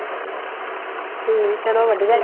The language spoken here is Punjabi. ਹਮ ਚਲੋ ਵਧੀਆ